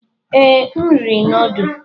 Ee, m riri nudu.